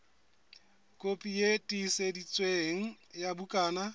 kopi e tiiseditsweng ya bukana